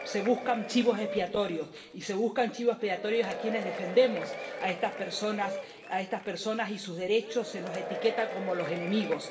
Se buscan chivos expiatorios y se buscan chivos expiatorios en quienes defendemos a estas personas y sus derechos. Se nos etiqueta como los enemigos.